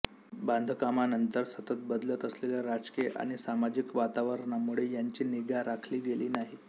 बांधकामानंतर सतत बदलत असलेल्या राजकीय आणि सामाजिक वातावरणामुळे यांची निगा राखली गेली नाही